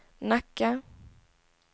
Nacka